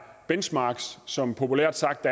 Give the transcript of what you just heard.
benchmarks som populært sagt